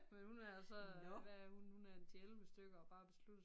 Men hun er så hvad er hun hun er en 10 11 stykker og bare besluttet